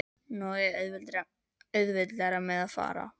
Nú á ég auðveldara með að fara.